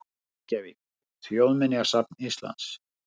Reykjavík: Þjóðminjasafn Íslands.